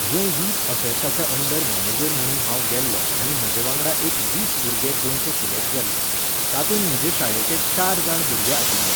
जंय यूथ अफेर्साच्या under manager म्हणून हांव गेल्लों आनी म्हजे वांगडा एक वीस भुरगे गोंयचें सिलेक्ट जाल्ले. तातुंत म्हजे शाळेचे चार जाण भुरगे आशिल्ले.